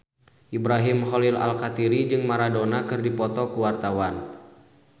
Ibrahim Khalil Alkatiri jeung Maradona keur dipoto ku wartawan